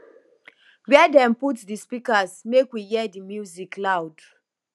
where dem put di speakers make we hear di music loud